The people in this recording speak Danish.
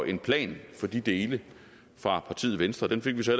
en plan for de dele fra partiet venstre den fik vi så